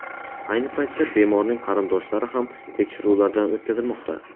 Ayni paytda bemorning qarindoshlari ham tekshiruvlardan o‘tkazilmoqda.